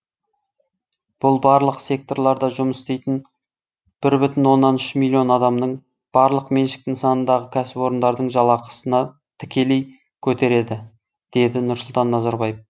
бұл барлық секторларда жұмыс істейтін бір бүтін оннан үш миллион адамның барлық меншік нысанындағы кәсіпорындардың жалақысына тікелей көтереді деді нұрсұлтан назарбаев